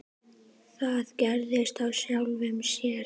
Það gerist af sjálfu sér.